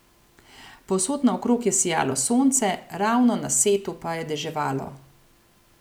Povsod naokrog je sijalo sonce, ravno na setu pa je deževalo.